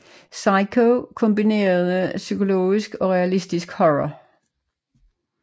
Psycho kombinerede psykologisk og realistisk horror